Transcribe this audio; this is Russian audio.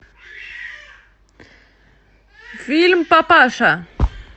фильм папаша